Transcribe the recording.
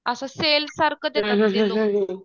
असं सेल सारखं देतात ते लोक